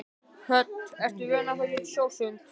Hödd: Ertu vön að fara í sjósund?